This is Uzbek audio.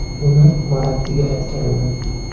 Buni Morattiga aytgandim.